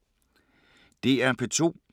DR P2